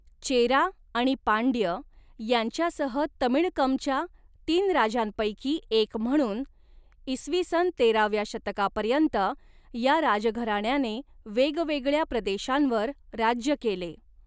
चेरा आणि पांड्य यांच्यासह तमिळकमच्या तीन राजांपैकी एक म्हणून, इ.स. तेराव्या शतकापर्यंत या राजघराण्याने वेगवेगळ्या प्रदेशांवर राज्य केले.